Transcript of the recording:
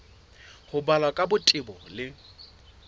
ho balwa ka botebo le